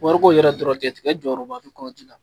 Wari ko in yɛrɛ dɔrɔn tigɛ jɔyɔrɔba b'i kɔnti la.